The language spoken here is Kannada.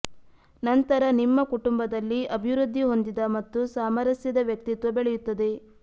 ನಂತರ ನಿಮ್ಮ ಕುಟುಂಬದಲ್ಲಿ ಅಭಿವೃದ್ಧಿ ಹೊಂದಿದ ಮತ್ತು ಸಾಮರಸ್ಯದ ವ್ಯಕ್ತಿತ್ವ ಬೆಳೆಯುತ್ತದೆ